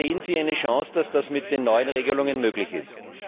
Sehen Sie eine Chance, dass das mit den neuen Regelungen möglich ist?